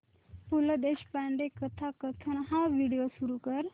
पु ल देशपांडे कथाकथन हा व्हिडिओ सुरू कर